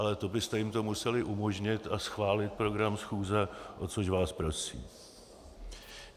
Ale to byste jim to museli umožnit a schválit program schůze, o což vás prosím.